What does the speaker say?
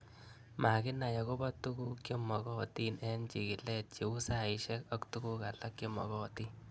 Makinai akopo tuguk che magatin eng' chikilet cheu saishek ak tuguk alak che makatin